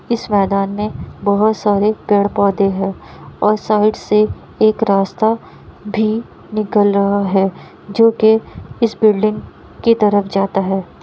इस मैदान में बहुत सारे पेड़-पौधे हैं और साइड से एक रास्ता भी निकल रहा है जो की इस बिल्डिंग के तरफ जाता है।